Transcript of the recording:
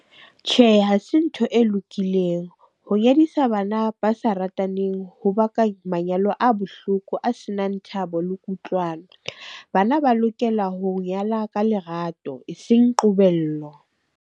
Tjhehe, ha se ntho e lokileng. Ho nyadisa bana ba sa rataneng ho baka manyalo a bohloko, a senang thabo le kutlwano. Bana ba lokela ho nyala ka lerato eseng qobello.